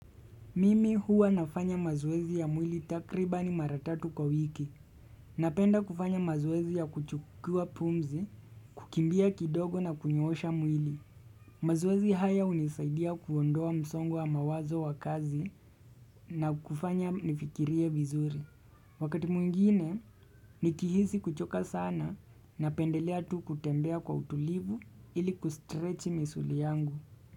Mimi huwa nafanya mazoezi ya mwili takribani mara tatu kwa wiki. Napenda kufanya mazoezi ya kuchukua pumzi, kukimbia kidogo na kunyoosha mwili. Mazoezi haya hunisaidia kuondoa msongo wa mawazo wa kazi na kufanya nifikirie vizuri. Wakati mwingine, nikihisi kuchoka sana napendelea tu kutembea kwa utulivu ili kustretch misuli yangu.